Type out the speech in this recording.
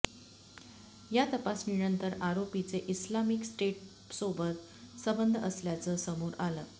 या तपासणीनंतर आरोपीचे इस्लामिक स्टेटसोबत संबंध असल्याचं समोर आलं